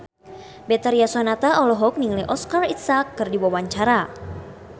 Betharia Sonata olohok ningali Oscar Isaac keur diwawancara